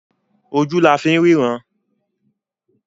Ojú la fi ń ríran.